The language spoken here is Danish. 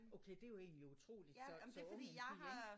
Okay det er egentlig utroligt så så ung en pige ik?